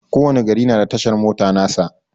Ko wani gari na da tashar mota nasa.